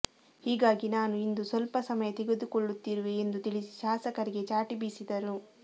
ಹೀಗಾಗಿ ನಾನು ಇಂದು ಸ್ವಲ್ಪ ಸಮಯ ತೆಗೆದುಕೊಳ್ಳುತ್ತಿರುವೆ ಎಂದು ತಿಳಿಸಿ ಶಾಸಕರಿಗೆ ಚಾಟಿ ಬೀಸಿದರು